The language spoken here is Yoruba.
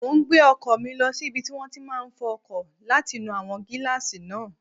Mo n gbé ọkọ̀ mi lọ sí ibi tí wọ́n ti máa n fọ ọkọ̀ láti nu àwọn gílààsì náà